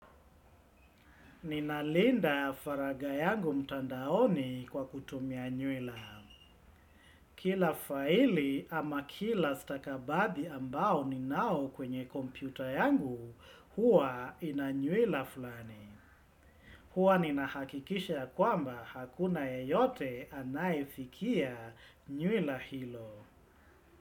Ninalinda faragha yangu mtandaoni kwa kutumia nywila. Kila faili ama kila stakabadhi ambao ninao kwenye kompyuta yangu, huwa ina nywila fulani. Huwa ninahakikisha ya kwamba hakuna yeyote anayefikia nywila hilo.